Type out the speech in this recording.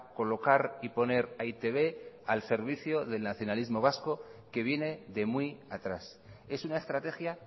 colocar y poner a e i te be al servicio del nacionalismo vasco que viene de muy atrás es una estrategia